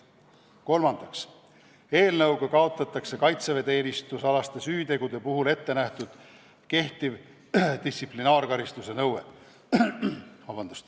Kolmandaks, eelnõuga kaotatakse kaitseväeteenistusalaste süütegude puhul ettenähtud kehtiv distsiplinaarkaristuse nõue.